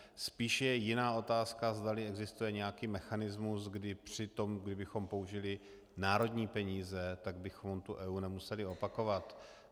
Spíš je jiná otázka, zdali existuje nějaký mechanismus, kdy při tom, kdybychom použili národní peníze, tak bychom tu EIA nemuseli opakovat.